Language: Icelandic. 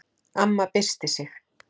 Amma byrsti sig.